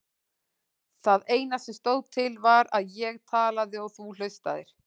Það eina sem stóð til var að ég talaði og þú hlustaðir.